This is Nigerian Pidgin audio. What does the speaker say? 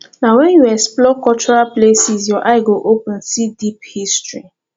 na wen you explore cultural places your eye go open see deep history